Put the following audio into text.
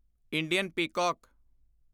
Indian peacock